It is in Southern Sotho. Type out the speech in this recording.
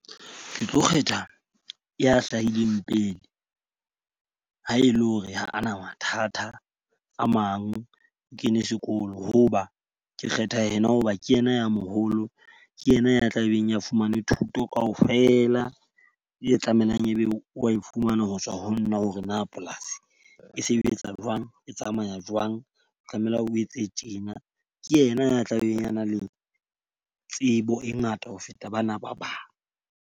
Ke tlo kgetha ya hlahileng pele. Ha e le hore ha a na mathata a mang, o kene sekolo. Ho ba ke kgetha ena hoba ke ena ya moholo. Ke yena ya tla beng ya fumane thuto ka ofela e tlamehang e be o wa e fumana ho tswa ho nna hore na polasi e sebetsa jwang, e tsamaya jwang, tlameha o etse tjena. Ke yena ya tla beng a nang le tsebo e ngata ho feta bana ba bang.